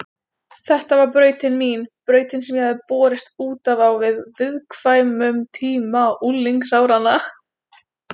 Þetta var brautin mín, brautin sem ég hafði borist út af á viðkvæmum tíma unglingsáranna.